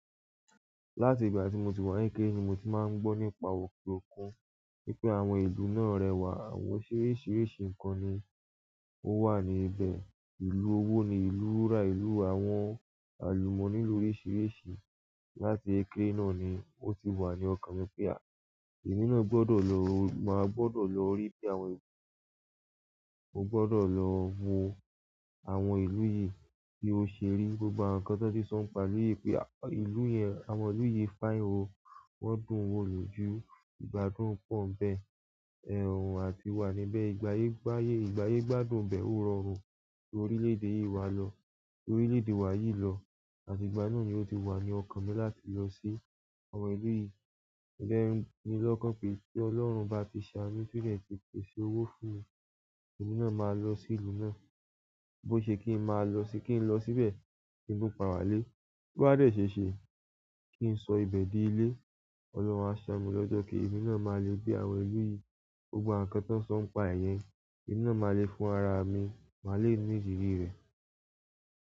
Láti ìgbà tí mo ti wà ní èké ni mo ti máa ń gbọ́ nípa ọ̀pọ̀lọpọ̀ nípé àwọn eso náà rẹwà, àwọn oríṣiríṣi nǹkan ni ó wà níbẹ̀. Ìlú owó ni, ìlú rírà ìlú, àwọn àlùmọ́nì lórisíríṣi. Láti èké náà ni ó ti wà ní ọkàn mi pé à, èmi náà gbọdọ̀ lọ, màá gbọdọ̀ lọ rí bí àwọn ìlú náà ṣe rẹwà. Mo gbọdọ̀ lọ wo àwọn ìlú yìí bí ó ṣe rí. Gbogbo àwọn nǹkan tó ti sọ̀ ń pa àlè pé à, ìlú yẹn, àwọn ìlú yìí, fáye o, wọ́n dùn wò lójú, ìgbádùn pọ̀ ẹ́ń bẹ́ẹ̀, ẹ̀rùn àtiwà níbẹ̀. Ìgbáyé, ìgbáyé, ìgbáyé gbádùn bẹ́ẹ̀ ó rọrùn. Torí orílẹ̀ èdè yìí wà lọ, torí orílẹ̀ èdè wa yìí lọ, àti ìgbà náà ni ó ti wà ní ọkàn mi láti lọ sí àwọn ìlú yìí. Ẹlẹ́rìí ni lọ́kàn pé kí ọlọ́run bá ti ṣá mí sílẹ̀ pé kó ṣe owó fún mi, èmi náà máa lọ sí ìlú náà. Bó ṣe kí ń máa lọ sí, kí ń lọ síbẹ̀, gbogbo kí tún padà wá ilé wà lé. Bí ó bá dẹ̀ ṣe é ṣe kí ń sọ ibẹ̀ di ilé. Ọlọ́run máa ṣá mí lọ́jọ́ kí èmi náà máa lè gbé àwọn ìlú yìí, gbogbo àwọn nǹkan tó ti sọ̀ ń pa èyẹn, èmi náà máa lè fún ara mi, máa le ní ìrírí rẹ̀.